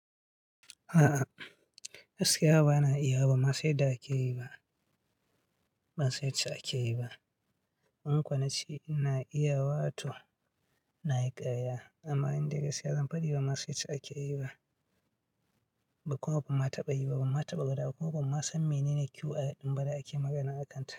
A'a, gaskiya ba na iyawa. Ban mah san yadda ake yi ba. In kuwa na ce ina iyawa, to na yi ƙarya amma indai gaskiya zan fadi ba, ma sai ce ake yi ba. Kuma ban ma taɓa yi ba, ban ma taɓa gwadawa ba Kuma ma ma ban ma san mene ne QR ɗin ba da ake magana akanta.